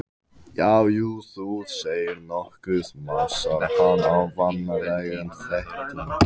Já, jú, þú segir nokkuð, másar hann á vanalegum þeytingi.